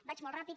vaig molt ràpid